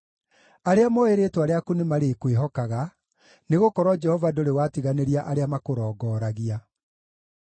Arĩa mooĩ rĩĩtwa rĩaku nĩmarĩkwĩhokaga, nĩgũkorwo Jehova ndũrĩ watiganĩria arĩa makũrongoragia.